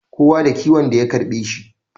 Kowa da kiwon da ya karbe shi